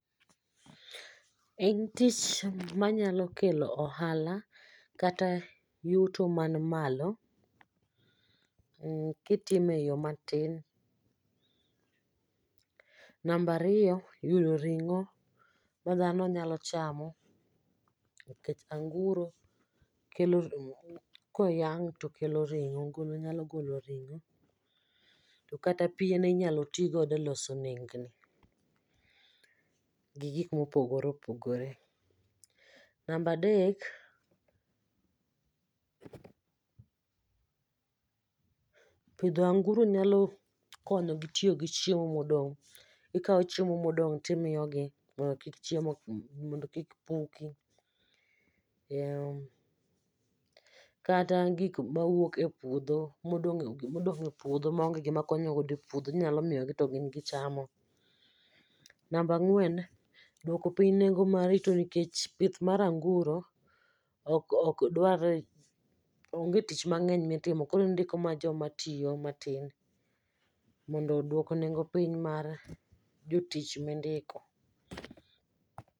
En tich ma nyalo kelo ohala kata yuto man malo mh kitime eyoo matin nambariyo yudo ring'o ma dhano nyalo chamo kech anguro kelo koyang' to kelo ring'o nyalo golo ring'o to kata piene inyalo tii godo e loso nengni gi gik mopogore opogore. Nambadek pidho anguro nyalo konyo gi tiyo gi chiemo modong' ikao chiemo modong' timiyo gi mondo kik chiemo mondo kik puki mh kata gik ma wuok e puodho modong' e puodho ma ong'e gima konyogo godo e puodho inyalo miyo gi to gin gichamo nambangwen dwoko pinya neng'o mar rito nikech pith mar ang'uro ok dwar ong'e tich mang'eny mitimo koro in indiko mana joma tiyo matin mondo odwok neng'o piny mar jotich mindiko.